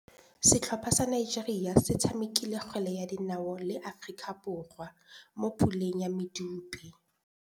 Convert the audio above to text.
Setlhopha sa Nigeria se tshamekile kgwele ya dinaô le Aforika Borwa mo puleng ya medupe.